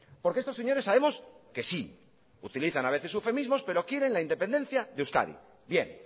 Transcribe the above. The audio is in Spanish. porque estos señores sabemos que sí utilizan a veces eufemismo pero quieren la independencia de euskadi bien